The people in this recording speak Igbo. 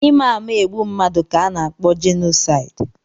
Ịma ama egbu mmadụ ka ana-akpọ jenosaidi.